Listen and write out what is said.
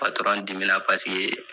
dimina paseke